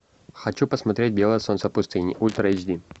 хочу посмотреть белое солнце пустыни ультра эйч ди